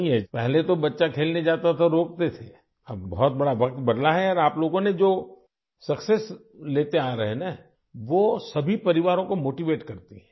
پہلے جب بچہ کھیلنے جاتا تھا تو وہ روکتے تھے اور اب زمانہ بدل گیا ہے اور آپ لوگ جو کامیابیاں حاصل کر رہے ہیں ، اس سے تمام گھر والوں کی حوصلہ افزائی ہوتی ہے